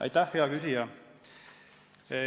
Aitäh, hea küsija!